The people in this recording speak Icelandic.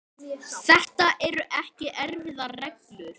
Þetta eru ekki erfiðar reglur.